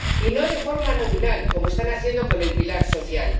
Y no de forma nominal, como están haciendo con el pilar social.